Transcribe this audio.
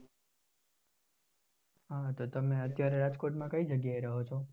હા તો તમે અત્યારે રાજકોટમાં કઈ જગ્યા એ રહો છો,